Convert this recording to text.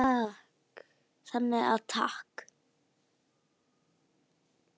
Þannig að takk.